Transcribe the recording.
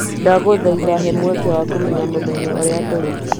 Ndagũthaitha he mweke wa kũmenya mũthenya ũrĩa tũrĩ.